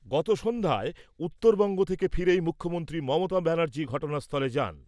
গতসন্ধ্যায় উত্তরবঙ্গ থেকে ফিরেই মুখ্যমন্ত্রী মমতা ব্যানার্জী ঘটনাস্থলে যান।